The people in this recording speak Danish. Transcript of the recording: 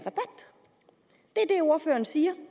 ordføreren siger